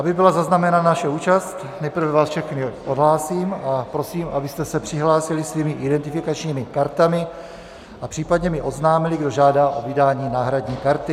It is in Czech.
Aby byla zaznamenána naše účast, nejprve vás všechny odhlásím a prosím, abyste se přihlásili svými identifikačními kartami a případně mi oznámili, kdo žádá o vydání náhradní karty.